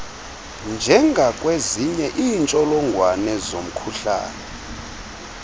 njengakwezinye iintsholongwane zomkhuhlane